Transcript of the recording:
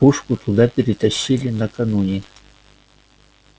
пушку туда перетащили накануне